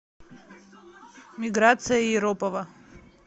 миграция иропова